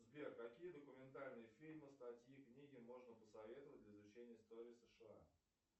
сбер какие документальные фильмы статьи книги можно посоветовать для изучения истории сша